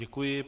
Děkuji.